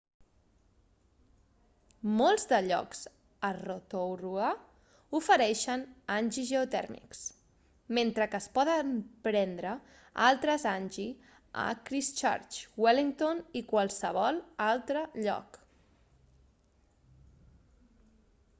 molts de llocs a rotorua ofereixen hangi geotèrmics mentre que es poden prendre altres hangi a christchurch wellington i qualsevol altre lloc